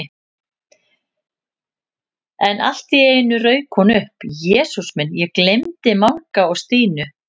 En allt í einu rauk hún upp: Jesús minn, ég gleymdi Manga og Stínu